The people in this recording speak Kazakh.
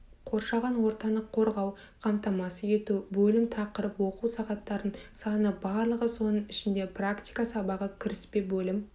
қоршаған ортаны қорғауды қамтамасыз етуі бөлім тақырып оқу сағаттарының саны барлығы соның ішінде практика сабағы кіріспе бөлім